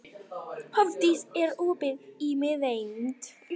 Hofdís, er opið í Miðeind?